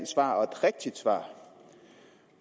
svar og et rigtigt svar